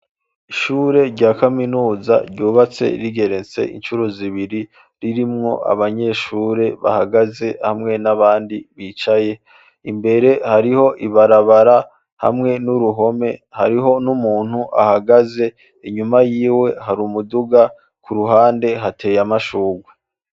Ishure rya kaminuza, ryubatse rigenetse, incuro zibiri, ririmwo abanyeshure bahagaze, hamwe n'abandi bicaye; imbere hariho ibarabara, hamwe n'uruhome; hariho n'umuntu ahagaze, inyuma yiwe, hari umuduga; ku ruhande hateye amashurwe.